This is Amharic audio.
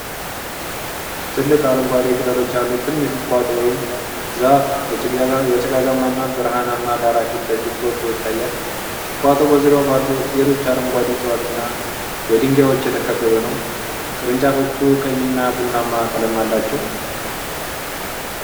ትልቅ አረንጓዴ ቅጠሎች ያሉት ትንሽ ቁጥቋጦ ወይም ዛፍ በጭጋጋማና ብርሃናማ ዳራ ፊት ለፊት ጎልቶ ይታያል። ቁጥቋጦው በዙሪያው ባሉ ሌሎች አረንጓዴ እፅዋት እና በድንጋዮች የተከበበ ነው። ቅርንጫፎቹ ቀይና ቡናማ ቀለም አላቸው።